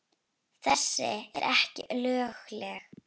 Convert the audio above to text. Þessi eru ekki lögleg.